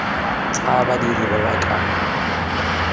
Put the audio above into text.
tsa badiri ba ba ka